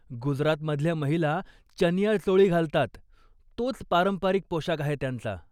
गुजरातमधल्या महिला 'चनिया चोळी' घालतात, तोच पारंपरिक पोशाख आहे त्यांचा.